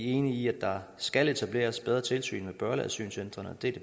enige i at der skal etableres bedre tilsyn med børneasylcentrene og det